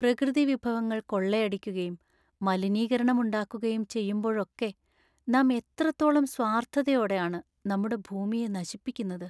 പ്രകൃതിവിഭവങ്ങൾ കൊള്ളയടിക്കുകയും മലിനീകരണം ഉണ്ടാക്കുകയും ചെയ്യുമ്പോളൊക്കെ നാം എത്രത്തോളം സ്വാർത്ഥതയോടെ ആണ് നമ്മുടെ ഭൂമിയെ നശിപ്പിക്കുന്നത്!